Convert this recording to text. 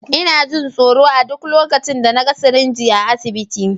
Ina jin tsoro a duk lokacin da na ga sirinji a asibiti.